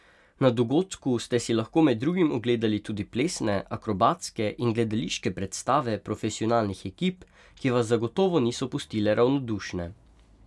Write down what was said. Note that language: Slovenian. Na dogodku ste si lahko med drugim ogledali tudi plesne, akrobatske in gledališke predstave profesionalnih ekip, ki vas zagotovo niso pustile ravnodušne.